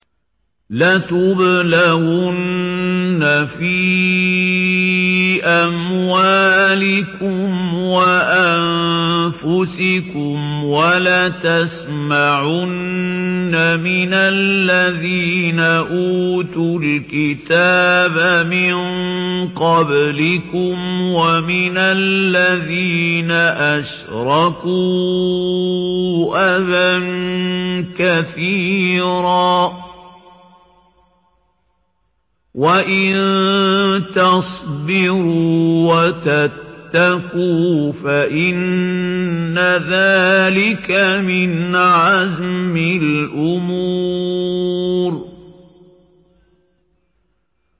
۞ لَتُبْلَوُنَّ فِي أَمْوَالِكُمْ وَأَنفُسِكُمْ وَلَتَسْمَعُنَّ مِنَ الَّذِينَ أُوتُوا الْكِتَابَ مِن قَبْلِكُمْ وَمِنَ الَّذِينَ أَشْرَكُوا أَذًى كَثِيرًا ۚ وَإِن تَصْبِرُوا وَتَتَّقُوا فَإِنَّ ذَٰلِكَ مِنْ عَزْمِ الْأُمُورِ